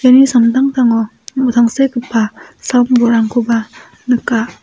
iani samtangtango tangsekgipa sam-bolrangkoba nika.